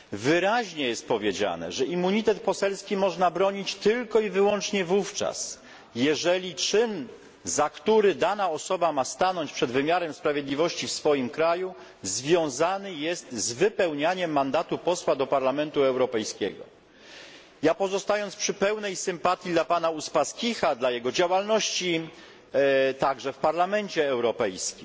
Wyraźnie jest powiedziane, że immunitet poselski można bronić tylko i wyłącznie wówczas, jeżeli czyn, za który dana osoba ma stanąć przed wymiarem sprawiedliwości w swoim kraju, związany jest z wypełnianiem mandatu posła do Parlamentu Europejskiego. Ja, zachowując pełną sympatię dla pana Uspaskicha, dla jego działalności, także w Parlamencie Europejskim,